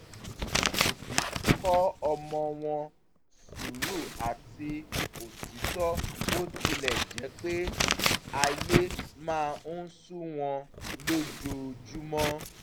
àwọn òbí kọ́ ọmọ wọn sùúrù àti òtítọ́ bó tilẹ̀ jẹ́ pé ayé máa ń sú wọn lójoojúmọ́